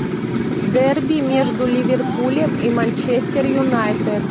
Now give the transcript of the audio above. дерби между ливерпулем и манчестер юнайтед